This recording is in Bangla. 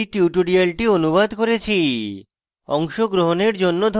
আমি কৌশিক দত্ত এই টিউটোরিয়ালটি অনুবাদ করেছি